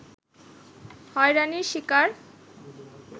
হয়রানির শিকার